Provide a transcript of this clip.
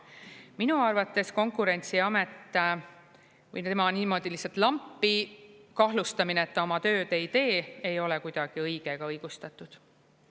Minu arvates Konkurentsiameti või tema niimoodi lihtsalt lampi kahtlustamine, et ta oma tööd ei tee, ei ole kuidagi õige ega õigustatud.